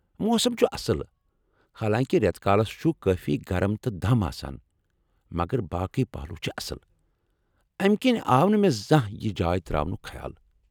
موسم چھ اصل، حالانٛکہ رٮ۪تہٕ کالس چُھ کٲفی گرم تہٕ دم آسان ، مگر باقٕی پہلوٗ چھِ اصل ، امہ کِنۍ آو نہٕ مےٚ زانٛہہ یہ جاے ترٲونُک خیال ۔